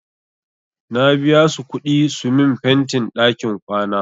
Na biya su kuɗi su min fentin ɗakin kwana.